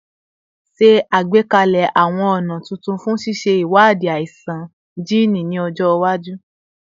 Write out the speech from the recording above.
Ṣe agbekalẹ awọn ọna tuntun fun ṣiṣe iwadii aisan jiini ni ọjọ iwaju